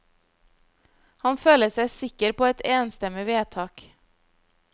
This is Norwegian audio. Han føler seg sikker på et enstemmig vedtak.